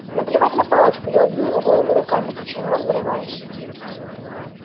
наплевать на палочку я убью его голыми руками кричал рон вырываясь